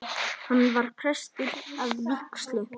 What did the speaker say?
Hann var prestur að vígslu.